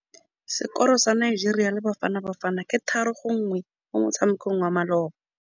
Sekôrô sa Nigeria le Bafanabafana ke 3-1 mo motshamekong wa malôba.